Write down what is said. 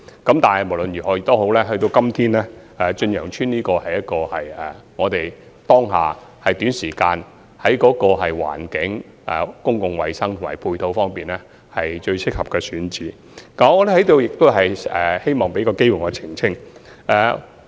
然而，無論如何，到了今天，在當下短時間內，駿洋邨在環境、公共衞生及配套方面是最適合的選址。此外，我在此亦希望作出澄清。